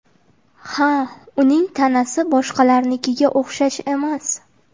Ha, uning tanasi boshqalarnikiga o‘xshash emas.